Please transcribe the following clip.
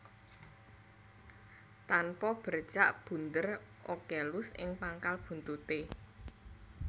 Tanpa bercak bunder ocellus ing pangkal buntuté